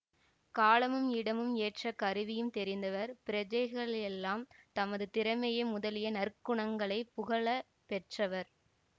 காலமும் இடமும் ஏற்ற கருவியும் தெரிந்தவர் பிரஜைகளெல்லாம் தமது திறமை முதலிய நற்குணங்களைப் புகழ பெற்றவர்